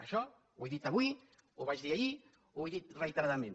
això ho he dit avui ho vaig dir ahir ho he dit reiteradament